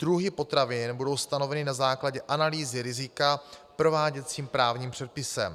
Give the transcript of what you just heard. Druhy potravin budou stanoveny na základě analýzy rizika prováděcím právním předpisem.